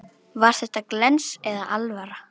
Var þetta glens eða alvara?